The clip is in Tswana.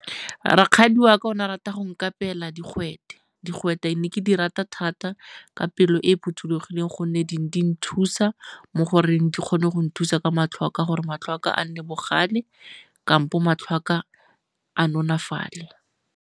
Rakgadi wa ka o ne a rata go nkapeela digwete. Digwete ne ke di rata thata ka pelo e e phothulogileng gonne di ne di nthusa mo goreng di kgone go nthusa ka matlho a ka gore matlho a ka a nne bogale kampo matlho a ka a nonafale.